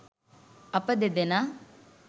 අප දෙදෙනා